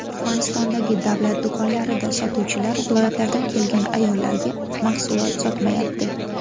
Turkmanistondagi davlat do‘konlarida sotuvchilar viloyatlardan kelgan ayollarga mahsulot sotmayapti.